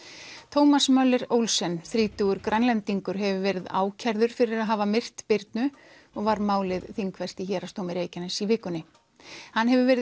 thomas Möller Olsen þrítugur hefur verið ákærður fyrir að hafa myrt Birnu og var málið þingfest í Héraðsdómi Reykjaness í vikunni hann hefur verið